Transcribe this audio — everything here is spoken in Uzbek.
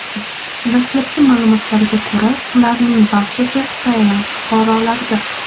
Dastlabki ma’lumotlarga ko‘ra, ularning barchasi Tailand fuqarolaridir.